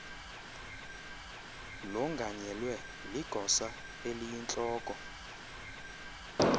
longanyelwe ligosa eliyintloko